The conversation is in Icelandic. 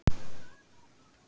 spurði sú rauðhærða.